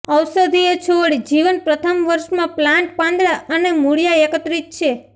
ઔષધિય છોડ જીવન પ્રથમ વર્ષમાં પ્લાન્ટ પાંદડાં અને મૂળિયા એકત્રિત છે